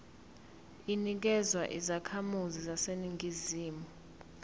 inikezwa izakhamizi zaseningizimu